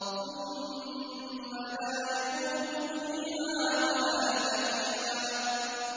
ثُمَّ لَا يَمُوتُ فِيهَا وَلَا يَحْيَىٰ